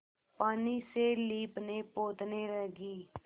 पानी से लीपनेपोतने लगी